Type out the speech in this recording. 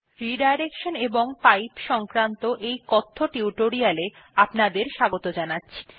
redirection এবং pipes সংক্রান্ত এই কথ্য টিউটোরিয়ালটিতে আপনাদের স্বাগত জানাচ্ছি